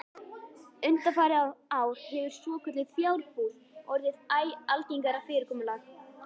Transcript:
Undanfarin ár hefur svokölluð fjarbúð orðið æ algengara fyrirkomulag.